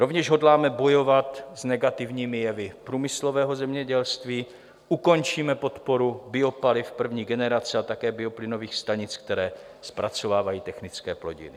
Rovněž hodláme bojovat s negativními jevy průmyslového zemědělství, ukončíme podporu biopaliv první generace a také bioplynových stanic, které zpracovávají technické plodiny.